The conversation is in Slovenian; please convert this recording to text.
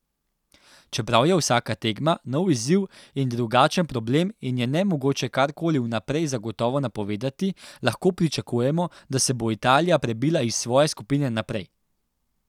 Čeprav je vsaka tekma nov izziv in drugačen problem in je nemogoče karkoli vnaprej zagotovo napovedati, lahko pričakujemo, da se bo Italija prebila iz svoje skupine naprej.